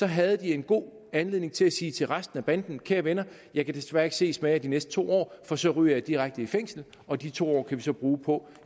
havde de en god anledning til at sige til resten af banden kære venner jeg kan desværre ikke ses med jer de næste to år for så ryger jeg direkte i fængsel og de to år kan vi så bruge på